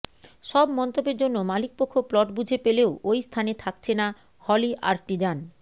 সব মন্তব্যের জন্য মালিকপক্ষ প্লট বুঝে পেলেও ওই স্থানে থাকছে না হলি আর্টিজান